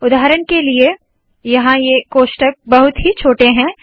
उदाहरण के लिए यहाँ ये कोष्ठक बहुत ही छोटे है